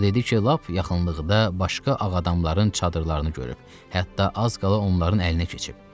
O dedi ki, lap yaxınlıqda başqa ağadamların çadırlarını görüb, hətta az qala onların əlinə keçib.